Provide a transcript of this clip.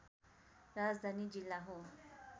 राजधानी जिल्ला हो